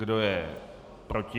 Kdo je proti?